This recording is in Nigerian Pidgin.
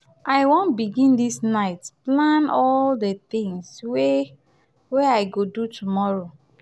i wan begin dis night plan all di tins wey wey i go do tomorrow.